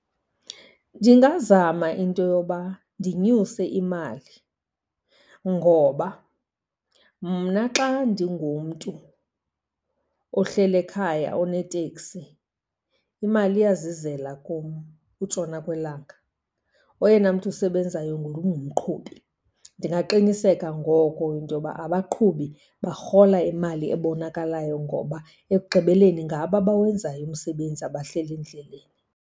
Ndingazama into yoba ndinyuse imali, ngoba mna xa ndingumntu ohleli ekhaya oneteksi, imali iyazizela kum utshona kwelanga, oyena mntu usebenzayo ngulo ungumqhubi. Ndingaqiniseka ngoko into yoba abaqhubi barhola imali ebonakalayo, ngoba ekugqibeleni ngabo abawenzayo umsebenzi, abahleli endleleni.